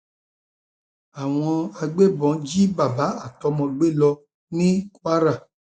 àwọn agbébọn jí bàbá àtọmọ gbé lọ ní kwara